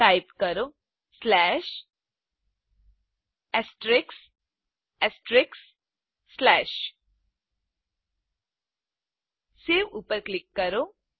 type કરો save ઉપર click કરો